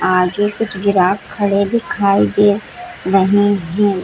आगे कुछ ग्राहक खड़े दिखाई दे रहे हैं।